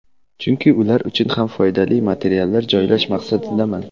Chunki ular uchun ham foydali materiallar joylash maqsadidaman.